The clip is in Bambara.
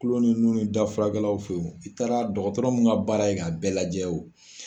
Kulo ninnu dafurakɛlaw fɛ yen i taara dɔgɔtɔrɔ min ka baara ye ka bɛɛ lajɛ o